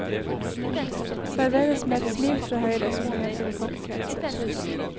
Serveres med et smil fra høyre, som det heter i kokkekretser.